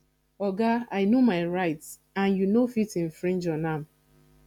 oga i no my rights and you no fit infringe on am